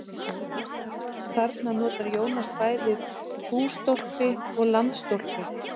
Þarna notar Jónas bæði bústólpi og landstólpi.